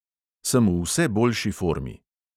Sem v vse boljši formi.